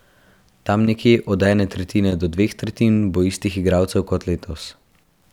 Tam nekje od ene tretjine do dveh tretjin bo istih igralcev kot letos.